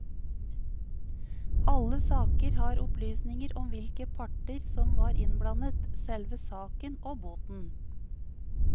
Alle saker har opplysninger om hvilke parter som var innblandet, selve saken og boten.